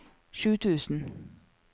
sju tusen